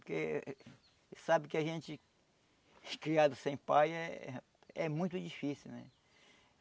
Porque sabe que a gente a gente criado sem pai eh é muito difícil, né?